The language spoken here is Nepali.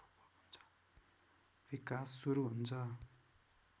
विकास सुरु हुन्छ